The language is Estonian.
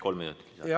Kolm minutit lisaaega.